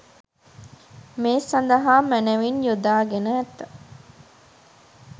මේ සඳහා මැනවින් යොදා ගෙන ඇත.